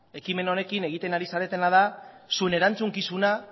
ekimen honekin egiten ari zaretena da zuen erantzukizuna